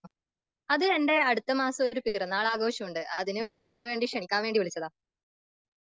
അതെ എന്റെ അടുത്ത മാസം ഒരു പിറന്നാൾ അംഘോഷമുണ്ട്.അതിന് വേണ്ടി ക്ഷണിക്കാൻ വേണ്ടി വിളിച്ചത.